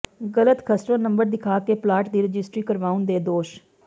ਗਲਤ ਖਸਰਾ ਨੰਬਰ ਦਿਖਾ ਕੇ ਪਲਾਟ ਦੀ ਰਜਿਸਟਰੀ ਕਰਾਉਣ ਦੇ ਦੋਸ਼